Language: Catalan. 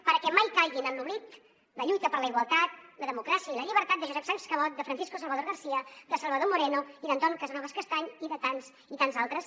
perquè mai caiguin en l’oblit la lluita per la igualtat la democràcia i la llibertat de josep sans cabot de francisco salvador garcía de salvador moreno i d’anton casanovas castany i de tants i tants altres